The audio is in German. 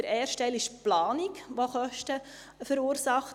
Der erste Teil ist die Planung, die Kosten verursacht.